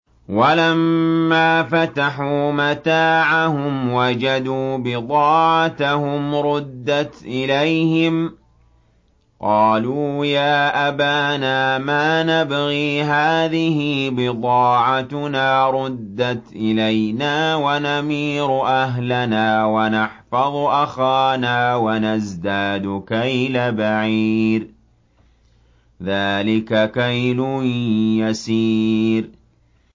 وَلَمَّا فَتَحُوا مَتَاعَهُمْ وَجَدُوا بِضَاعَتَهُمْ رُدَّتْ إِلَيْهِمْ ۖ قَالُوا يَا أَبَانَا مَا نَبْغِي ۖ هَٰذِهِ بِضَاعَتُنَا رُدَّتْ إِلَيْنَا ۖ وَنَمِيرُ أَهْلَنَا وَنَحْفَظُ أَخَانَا وَنَزْدَادُ كَيْلَ بَعِيرٍ ۖ ذَٰلِكَ كَيْلٌ يَسِيرٌ